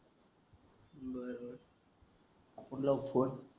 आपुन लावू फोन